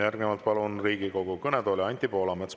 Järgnevalt palun Riigikogu kõnetooli Anti Poolametsa.